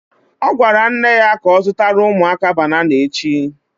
Ọ gwara nne ya ka ọ zụtara ụmụaka banana echi